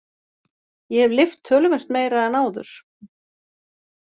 Ég hef lyft töluvert meira en áður.